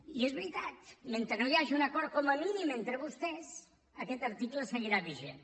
i és veritat mentre no hi hagi un acord com a mínim entre vostès aquest article seguirà vigent